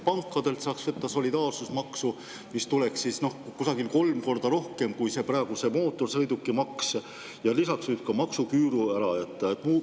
Pankadelt saaks võtta solidaarsusmaksu, mida tuleks kokku kusagil kolm korda rohkem kui praegu seda mootorsõidukimaksu, ja lisaks võiks ka maksuküüru ära jätta.